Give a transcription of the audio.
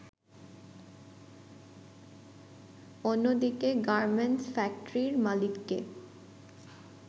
অন্যদিকে গার্মেন্টস ফ্যাক্টরির মালিককে